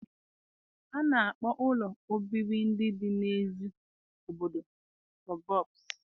A na-akpọ ụlọ obibi ndị dị n'èzí obodo sọbọbsụ.